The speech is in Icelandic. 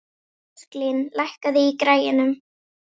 Ósklín, lækkaðu í græjunum.